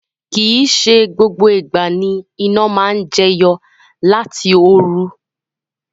Kii se gbogbo igba ni ina maa n jeyo lati oru